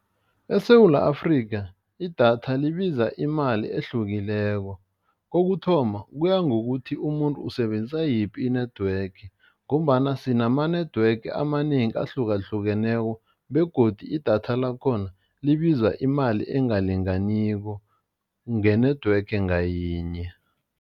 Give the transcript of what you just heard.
ESewula Afrika idatha libiza imali ehlukileko, kokuthoma kuya ngokuthi umuntu usebenzisa yiphi i-network ngombana sinama-network amanengi ahlukahlukeneko begodu idatha lakhona libiza imali engalinganiko nge-network ngayinye.